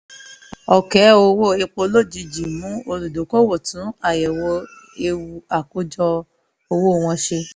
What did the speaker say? òkè owó epo lójijì mú olùdókòwò tún àyèwò ewú àkájọ owó wọn ṣe